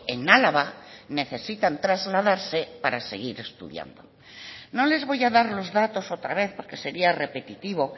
en álava necesitan trasladarse para seguir estudiando no les voy a dar los datos otra vez porque sería repetitivo